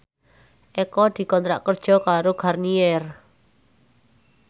Eko dikontrak kerja karo Garnier